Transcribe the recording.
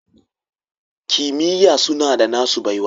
Kimiyya suna da nasu baiwa